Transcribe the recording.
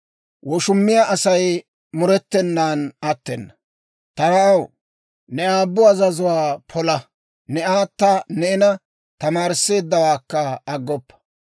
Ta na'aw, ne aabbu azazuwaa pola; ne aata neena tamaarisseeddawaakka aggoppa;